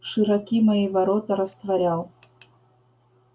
широки мои ворота растворял